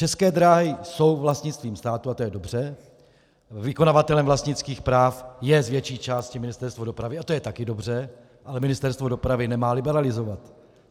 České dráhy jsou vlastnictvím státu a to je dobře, vykonavatelem vlastnických práv je z větší části Ministerstvo dopravy a to je také dobře, ale Ministerstvo dopravy nemá liberalizovat.